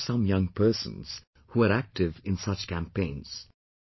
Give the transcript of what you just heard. I do know some young persons, who are active in such campaigns